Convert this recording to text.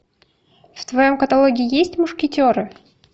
в твоем каталоге есть мушкетеры